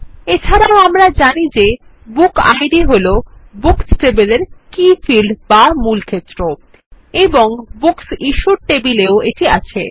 এছাড়াও আমরা জানি যে বুক ইদ হল বুকস টেবিলের কে ফিল্ড বা মূল ক্ষেত্র এবং বুকস ইশ্যুড টেবিল এও এটি আছে